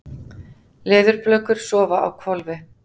Leðurblökur sofa á hvolfi.